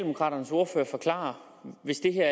hvis det her